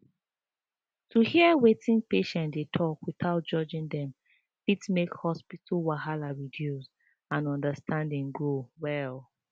to hear wetin patients dey talk without judging dem fit make hospital wahala reduce and understanding grow well